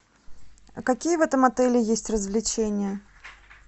а какие в этом отеле есть развлечения